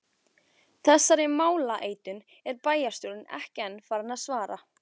Þessari málaleitun er bæjarstjórnin ekki enn farin að svara.